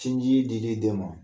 Cinjii dili den ma